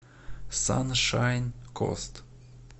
саншайн кост